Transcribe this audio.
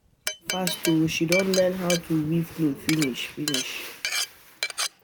Dat girl fast oo she don learn how to weave cloth finish finish